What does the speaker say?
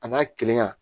A n'a kelenya